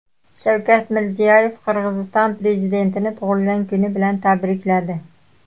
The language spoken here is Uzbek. Shavkat Mirziyoyev Qirg‘iziston prezidentini tug‘ilgan kuni bilan tabrikladi.